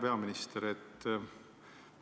Hea peaminister!